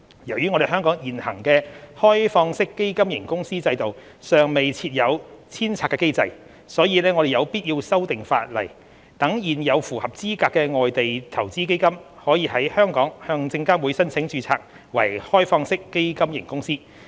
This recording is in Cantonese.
由於香港現行的開放式基金型公司制度尚未設有遷冊機制，所以我們有必要修訂法例，讓現有符合資格的外地投資基金，可在香港向證監會申請註冊為開放式基金型公司。